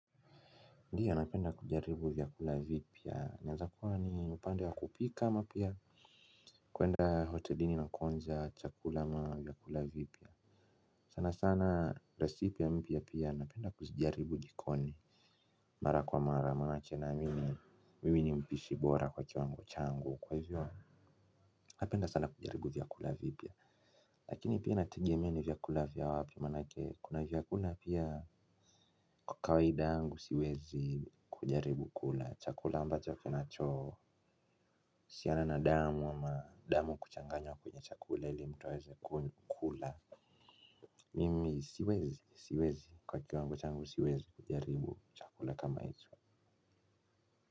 Ndiyo, napenda kujaribu vyakula vipya. Inaweza kuwa ni upande wa kupika ama pia kwenda hotelini na kuanza chakula ama vyakula vipya sana sana 'recipe' mpya pia napenda kuzijaribu jikoni. Mara kwa mara, mara chache na mimi, mimi ni mpishi bora kwa kiwango changu. Kwa hivyo napenda sana kujaribu vyakula vipya lakini pia inategemea ni vyakula vya wapi manake kuna vyakula pia. Kwa kawaida yangu siwezi kujaribu kula, chakula ambacho kinachoo siana na damu ama damu kuchanganywa kwenye chakula ili mtu aweze kukula. Mimi siwezi, siwezi, kwa kiwango changu siwezi kujaribu chakula kama hicho.